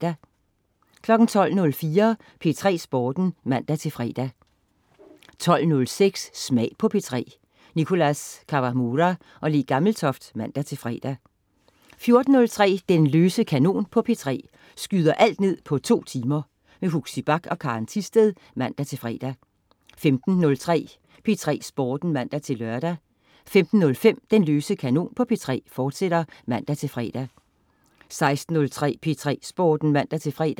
12.04 P3 Sporten (man-fre) 12.06 Smag på P3. Nicholas Kawamura/Le Gammeltoft (man-fre) 14.03 Den løse kanon på P3. Skyder alt ned på 2 timer. Huxi Bach og Karen Thisted (man-fre) 15.03 P3 Sporten (man-lør) 15.05 Den løse kanon på P3, fortsat (man-fre) 16.03 P3 Sporten (man-fre)